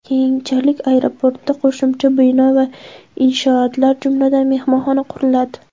Keyinchalik aeroportda qo‘shimcha bino va inshootlar, jumladan, mehmonxona quriladi.